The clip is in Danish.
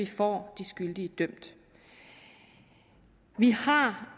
får de skyldige dømt vi har